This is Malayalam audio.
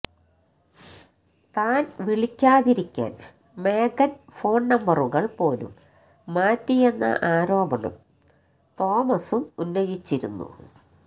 താൻ വിളിക്കാതിരിക്കാൻ മേഗൻ ഫോൺനമ്പറുകൾ പോലും മാറ്റിയെന്ന ആരോപണം തോമസും ഉന്നയിച്ചിരുന്നു